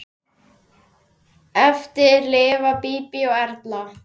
Eftir lifa Bíbí og Erla.